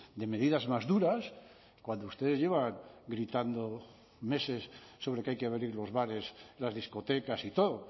de medidas más duras cuando ustedes llevan militando meses sobre que hay que abrir los bares las discotecas y todo